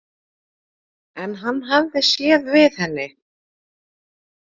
En hann hafði séð við henni.